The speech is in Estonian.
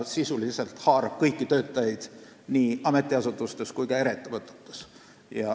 Sisuliselt haarab see kõiki töötajaid nii ametiasutustes kui ka eraettevõtetes.